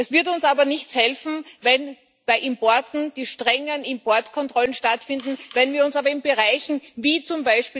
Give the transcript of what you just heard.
Es wird uns aber nichts helfen, wenn bei Importen die strengen Importkontrollen stattfinden, wenn wir uns aber in Bereichen wie z.